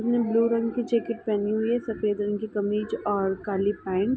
उसने ब्लू रंग की जैकेट पहनी हुई है। सफ़ेद रंग की कमीज और काली रंग पैंट ।